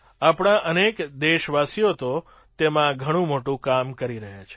આપણા અનેક દેશવાસીઓ તો તેમાં ઘણું મોટું કામ કરી રહ્યા છે